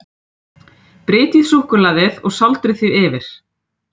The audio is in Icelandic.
Brytjið suðusúkkulaðið og sáldrið því yfir.